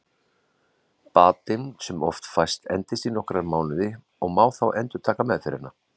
Batinn sem oft fæst endist í nokkra mánuði og má þá endurtaka meðferðina.